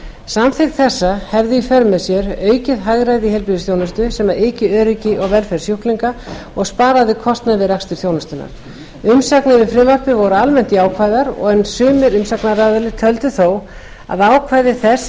samþykkt þess hefði í för með sér aukið hagræði í heilbrigðisþjónustu sem yki öryggi og velferð sjúklinga og sparaði kostnað við rekstur þjónustunnar umsagnir við frumvarpið voru almennt jákvæðar en sumir umsagnaraðilar töldu þó að ákvæði þess